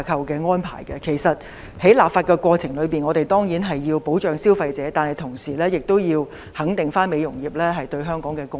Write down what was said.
我們在立法過程中當然需要保障消費者，但同時亦要肯定美容業對香港的貢獻。